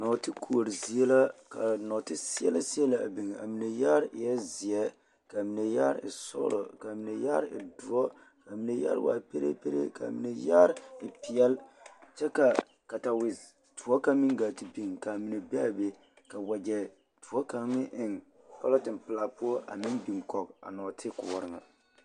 Nɔɔtekoɔre zie la ka nɔɔteseɛlɛseɛlɛ biŋ a mine yaare eɛ zeɛ ka q mine yaare e sɔɡelɔ ka a mine yaare e doɔ ka a mine yaare waa pereeperee ka a mine yaare e peɛle kyɛ ka katawedoɔre kaŋ meŋ ɡaa te biŋ ka a mine be a be ka waɡyɛ doɔ kaŋ meŋ eŋ pɔlɔten pelaa poɔ a meŋ biŋ kɔɡe a nɔɔtekoɔre ŋa.